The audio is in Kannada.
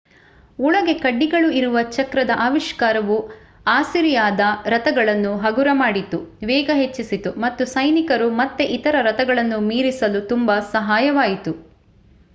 ಒಳಗೆ ಕಡ್ಡಿಗಳು ಇರುವ ಚಕ್ರದ ಆವಿಷ್ಕಾರವು ಅಸಿರಿಯಾದ ರಥಗಳನ್ನು ಹಗುರ ಮಾಡಿತು ವೇಗ ಹೆಚ್ಚಿಸಿತು ಮತ್ತು ಸೈನಿಕರು ಮತ್ತೆ ಇತರೆ ರಥಗಳನ್ನು ಮೀರಿಸಲು ತುಂಬಾ ಸಹಾಯವಾಯಿತು